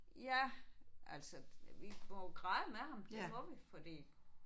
Ja altså vi må jo græde med ham det må vi fordi